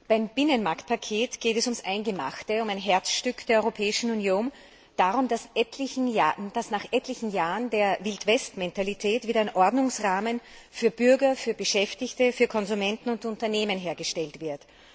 Beim Binnenmarktpaket geht es ums Eingemachte, um ein Herzstück der Europäischen Union, darum, dass nach etlichen Jahren der Wildwestmentalität wieder ein Ordnungsrahmen für Bürger, Beschäftigte, Konsumenten und Unternehmen hergestellt wird.